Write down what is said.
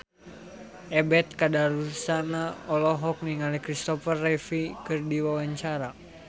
Ebet Kadarusman olohok ningali Christopher Reeve keur diwawancara